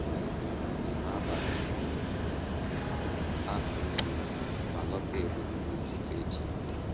Anyị nọgidere na njem abalị ahụ nile ma lọta Ebonyi n’ụtụtụ echi ya.